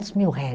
mil réis.